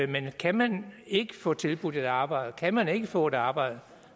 men kan man ikke få tilbudt et arbejde kan man ikke få et arbejde